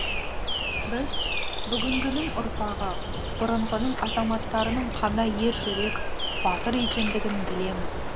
біз бүгінгінің ұрпағы бұрынғының азаматтарының қандай ер жүрек батыр екендігін білеміз